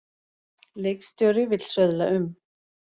Leikstjóri vill söðla um